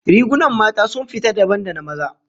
Rigunan mata sun fita dabam da na maza